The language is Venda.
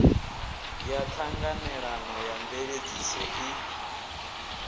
ya ṱhanganelano ya mveledziso i